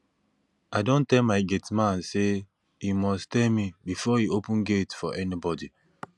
i don tell my gate man say he must tell me before he open gate for anybody